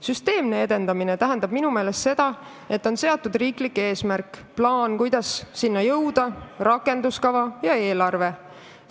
Süsteemne edendamine tähendab minu meelest seda, et on seatud riiklik eesmärk, plaan, kuidas selleni jõuda, ning koostatud rakenduskava ja eelarve.